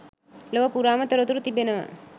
ලොව පුරාම තොරතුරු තිබෙනවා.